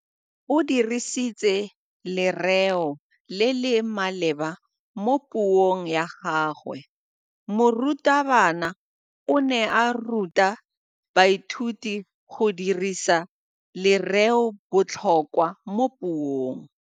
O dirisitse lerêo le le maleba mo puông ya gagwe. Morutabana o ne a ruta baithuti go dirisa lêrêôbotlhôkwa mo puong.